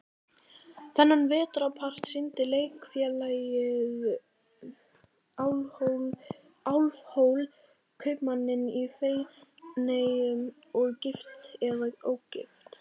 Þennan vetrarpart sýndi Leikfélagið Álfhól, Kaupmanninn í Feneyjum og Gift eða ógift?